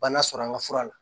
Bana sɔrɔ an ka fura la